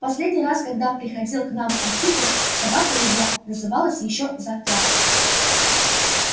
последний раз когда приходил к нам антипыч собака его называлась ещё затравка